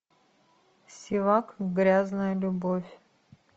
севак грязная любовь